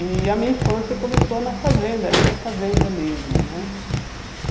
E a minha infância começou na fazenda, nessa fazenda mesmo, né?